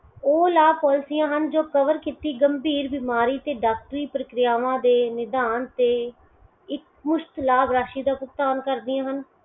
ਓਹ ਲਾਭ policy ਹਨ ਜੋ cover ਕੀਤੀ ਗੰਭੀਰ ਬਿਮਾਰੀ ਤੇ ਡਾਕਟਰੀ ਪ੍ਰਕਿਰਿਆਵਾਂ ਦੇ ਨਿਧਾਨ ਤੇ ਇੱਕ ਪੁਸ਼ਤ ਲਾਭ ਰਾਸ਼ੀ ਦਾ ਭੁਗਤਾਨ ਕਰਦੀਆਂ ਹਨ